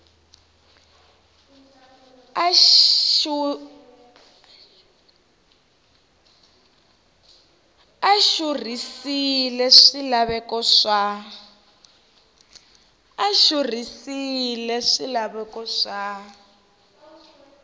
a a xurhisile swilaveko swa